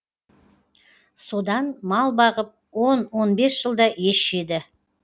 содан мал бағып он он бес жылда ес жиды